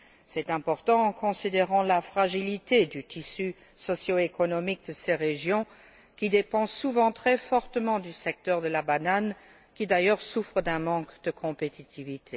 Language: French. C'est important, compte tenu de la fragilité du tissu socio économique de ces régions, qui dépendent souvent très fortement du secteur de la banane, lequel d'ailleurs, souffre d'un manque de compétitivité.